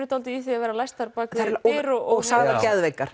dálítið í því að vera læstar á bak við dyr og sagðar geðveikar